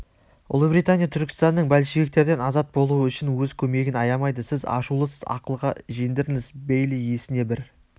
ұлыбритания түркістанның большевиктерден азат болуы үшін өз көмегін аямайды сіз ашулысыз ақылға жеңдіріңіз бейли есіне бір